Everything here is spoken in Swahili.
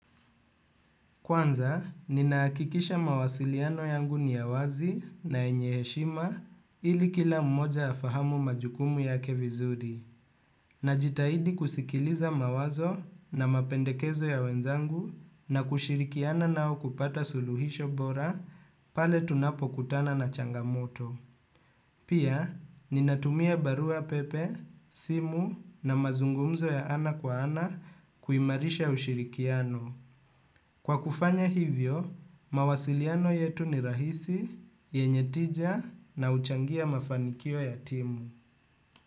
Kwanza, ninahakikisha mawasiliano yangu ni ya wazi na yenye heshima ili kila mmoja afahamu majukumu yake vizuri. Najitahidi kusikiliza mawazo na mapendekezo ya wenzangu na kushirikiana nao kupata suluhisho bora pale tunapokutana na changamoto. Pia, ninatumia barua pepe, simu na mazungumzo ya ana kwa ana kuimarisha ushirikiano. Kwa kufanya hivyo, mawasiliano yetu ni rahisi, yenye tija na huchangia mafanikio ya timu.